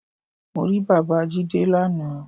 Mo rí bàbáa Jídé lana